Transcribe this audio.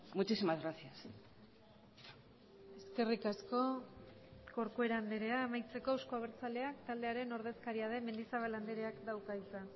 muchísimas gracias eskerrik asko corcuera andrea amaitzeko euzko abertzaleak taldearen ordezkaria den mendizabal andreak dauka hitza